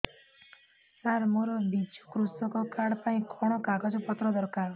ସାର ମୋର ବିଜୁ କୃଷକ କାର୍ଡ ପାଇଁ କଣ କାଗଜ ପତ୍ର ଦରକାର